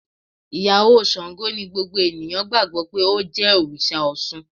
Ìyàwó Sango ni gbogbo ènìyàn gbàgbó pé ó jẹ́ Òrìsà Osun.